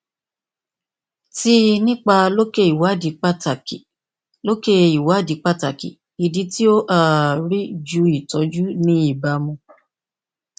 ti nipa loke iwadi pataki loke iwadi pataki idi ti o um ri ju itọju ni ibamu